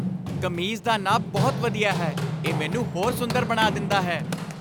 ਕਮੀਜ਼ ਦਾ ਨਾਪ ਬਹੁਤ ਵਧੀਆ ਹੈ। ਇਹ ਮੈਨੂੰ ਹੋਰ ਸੁੰਦਰ ਬਣਾ ਦਿੰਦਾ ਹੈ।